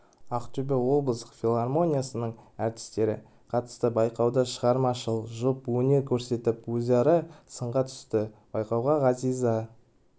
ақтөбе облыстық филармониясының әртістері қатысты байқауда шығармашыл жұп өнер көрсетіп өзара сынға түсті байқауға ғазиза